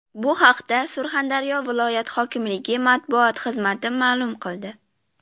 Bu haqda Surxondaryo viloyat hokimligi matbuot xizmati ma’lum qildi .